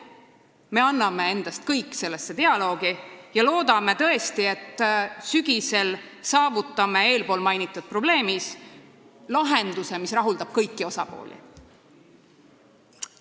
Me anname endast kõik sellesse dialoogi ja loodame tõesti, et sügisel saavutame eespool mainitud probleemi puhul lahenduse, mis rahuldab kõiki osapooli.